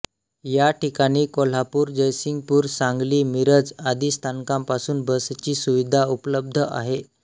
याठिकाणी कोल्हापूर जयसिंगपूर सांगली मिरज आदी स्थानकांपासून बसची सुविधा उपलब्ध आहे